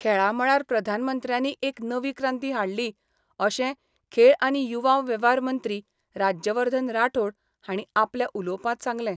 खेळा मळार प्रधानमंत्र्यानी एक नवी क्रांती हाडली अशें खेळ आनी युवा वेव्हार मंत्री राज्यवर्धन राठोड हांणी आपल्या उलोवपांत सांगलें.